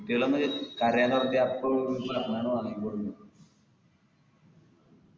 കഥയങ് പറഞ്ഞാ അപ്പൊ പറഞ്ഞാട് വാങ്ങിക്കൊടുക്കും